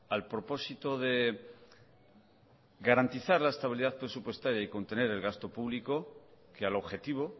al propósito de garantizar la estabilidad presupuestaria y contener el gasto público que al objetivo